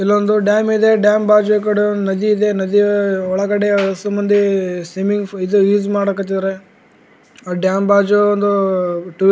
ಇಲ್ಲೊಂದು ಡ್ಯಾಮ್ ಇದೆ ಡ್ಯಾಮ್ ಬಾಜು ಈ ಕಡೆ ಒಂದು ನದಿ ಇದೆ ನದಿ ಒಳಗಡೆ ಒಸ್ಸು ಮಂದಿ ಸ್ವಿಮ್ಮಿಂಗ್ ಪೂಲ್ ಇದು ಯೂಸ್ ಮಾಡಕ್ ಹತ್ತಿದ್ದಾರೆ ಆ ಡ್ಯಾಮ್ ಬಾಜು ಒಂದು ಟೂ --